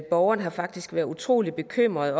borgerne har faktisk været utrolig bekymrede